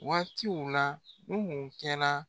Waatiw la Nuhun kɛ la